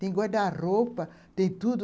Tem guarda-roupa, tem tudo.